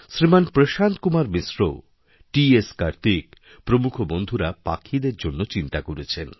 শ্রীমান Prashanta Kumar Mishra T S Kartik প্রমুখ বন্ধুরাপাখিদের জন্য চিন্তা করেছেন